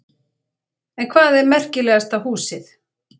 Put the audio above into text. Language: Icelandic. En hvað er merkilegasta húsið?